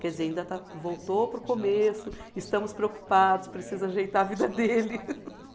Quer dizer, ainda está, voltou para o começo, estamos preocupados, precisa ajeitar a vida dele.